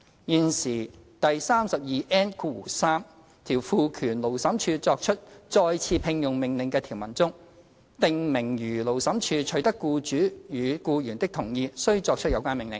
現時第 32N3 條賦權勞審處作出再次聘用命令的條文中，訂明如勞審處取得僱主與僱員的同意，須作出有關命令。